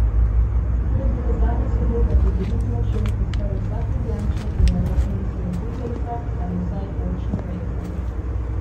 To je bila zadnja sobota pred veliko nočjo in skoraj vsak Ljubljančan je v roki nesel butarico ali vsaj oljčno vejico.